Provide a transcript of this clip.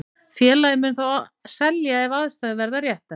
Félagið mun þó selja ef aðstæður verða réttar.